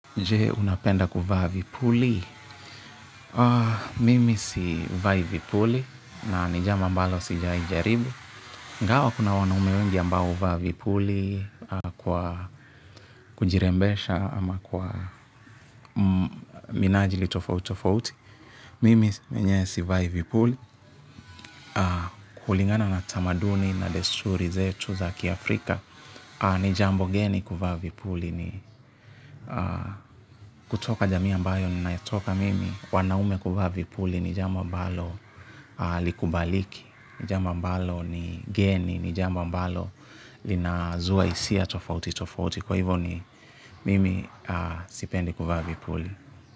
Jee, unapenda kuvaa vipuli? Mimi sivai vipuli na ni jambo ambalo sijawahi jaribu. Ingawa kuna wanaume wengi ambao huvaa vipuli, kujirembesha ama kwa minajili tofauti tofauti. Mimi mwenyewe sivai vipuli. Kulingana na tamaduni na desturi zetu za kiafrika, ni jambo geni kuvaa vipuli ni kutoka jamii ambayo ninayotoka mimi. Wanaume kuvaa vipuli ni jambo ambalo halikubaliki. Ni jambo ambalo ni geni. Ni jambo ambalo linazua hisia tofauti tofauti. Kwa hivo, mimi sipendi kuvaa vipuli.